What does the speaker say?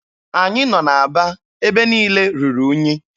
Anyị nọ n'Aba, ebe niile ruru unyi.